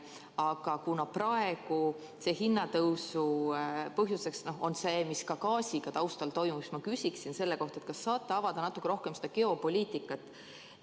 Aga kuna praegu on hinnatõusu põhjuseks see, mis ka gaasiga taustal toimub, siis ma küsin selle kohta, kas te saate avada natuke rohkem geopoliitikat.